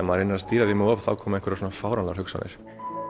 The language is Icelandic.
maður reynir að stýra því um of þá koma einhverjar svona fáránlegar hugsanir